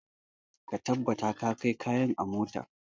Ka tabbata ka kai kayan a mota.